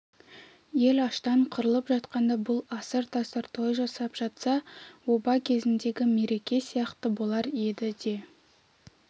ел аштан қырылып жатқанда бұл асыр-тасыр той жасап жатса оба кезіндегі мереке сияқты болар еді де